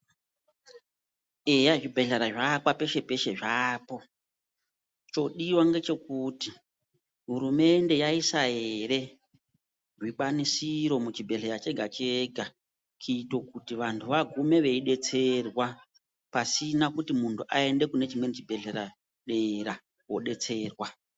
Eya zvibhehlera zvaakwa zvapeshe -peshe zvaapo, chodiwa ngechekuti hurumende yaisa here zvikwanisiro muchibhehleya chega chega kuite kuti vanhu vagume veidetserwa pasina kuti munhu aende kune chimweni chibhehleya dera kodetserwa.